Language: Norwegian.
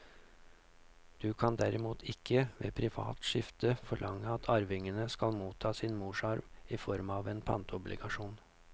Du kan derimot ikke ved privat skifte forlange at arvingene skal motta sin morsarv i form av en pantobligasjon.